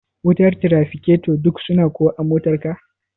wutar tirafiketo duka suna kuwa a motar ka?